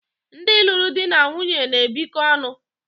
ndị lụrụ di na nwunye na-ebikọ ọnụ